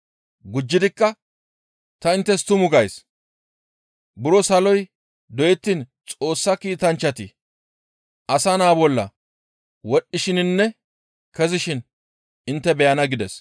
Gujjidikka ta inttes tumu gays; buro saloy doyettiin Xoossa kiitanchchati Asa Naa bolla wodhdhishininne kezishin intte beyana» gides.